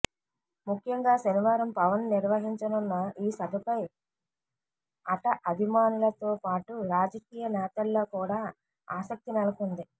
ముఖ్యంగా శనివారం పవన్ నిర్వహించనున్న ఈ సభపై అట అభిమానులతో పాటు రాజకీయ నేతల్లో కూడా ఆసక్తి నెలకొంది